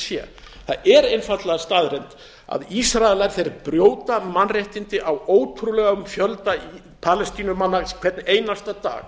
sé það er einfaldlega staðreynd að ísraelar brjóta mannréttindi á ótrúlegum fjölda palestínumanna hvern einasta dag